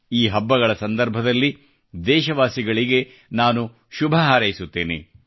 ಈ ಹಬ್ಬಗಳ ಸಂದರ್ಭದಲ್ಲಿ ದೇಶವಾಸಿಗಳಿಗೆ ನಾನು ಶುಭ ಹಾರೈಸುತ್ತೇನೆ